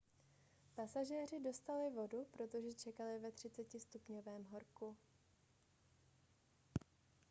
pasažéři dostali vodu protože čekali ve 30° horku